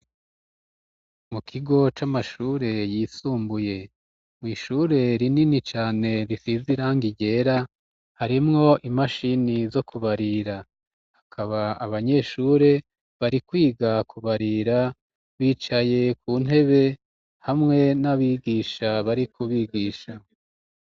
Mu kigo c'amashure yisumbuye, mw'ishure rinini cane risize irangi ryera harimwo imashini zo kubarira, hakaba abanyeshure bari kwiga kubarira bicaye ku ntebe hamwe n'abigisha bari kubigisha.